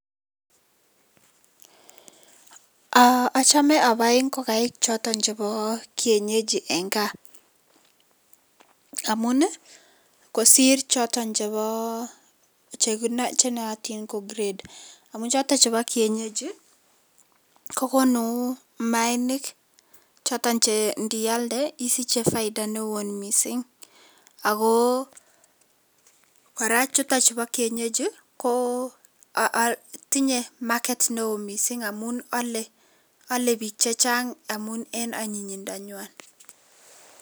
Aa achome abai ingokaik choton chebo kienyejien kaa amu kosir choton chebo chenootin ko grade amun choton chebo kienyeji kogonun maanik choton che indialde isiche faida newon misink ako koraa chuton chubo kienyeji ko tinye market misink amun ole bik chechang amun en anyinyindanywan.